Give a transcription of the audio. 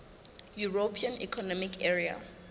european economic area